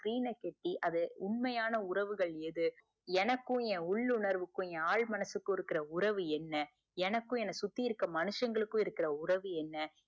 screen அ கெட்டி அது உண்மையான உறவுகள் எது எனக்கும் என் உள் உணர்வுக்கும் என் ஆள் மனசுக்கும் உள்ள உறவு என்ன எனக்கும் என்ன சுத்தி இருக்குற மனுசங்களுக்கும் இருக்குற உறவு என்ன